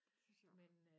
Det synes jeg også